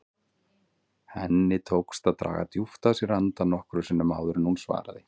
Henni tókst að draga djúpt að sér andann nokkrum sinnum áður en hún svaraði.